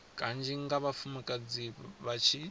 kanzhi nga vhafumakadzi vha tshi